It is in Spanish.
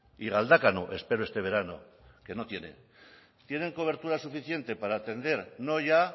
y galdakao espero este verano que no tienen tienen cobertura suficiente para atender no ya